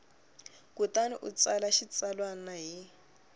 kutani u tsala xitsalwana hi